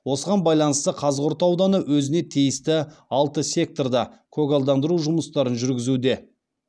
осыған байланысты қазығұрт ауданы өзіне тиісті алты секторда көгалдандыру жұмыстарын жүргізуде